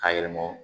K'a yɛlɛma